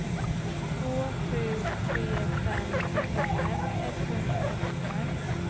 två sju tre fem fyrtiofem etthundratrettiofem